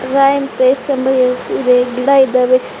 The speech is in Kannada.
ಸಾಯಿ ಪೇಸ್ ಎಂಬ ಹೆಸರಿದೆ ಗಿಡ ಇದ್ದಾವೆ.